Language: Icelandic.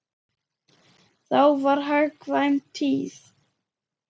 Þá var hagkvæm tíð.